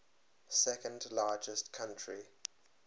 second largest country